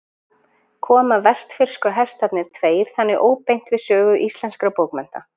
Koma vestfirsku Hestarnir tveir þannig óbeint við sögu íslenskra bókmennta.